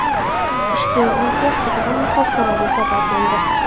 Ushbu video qizg‘in muhokamaga sabab bo‘ldi.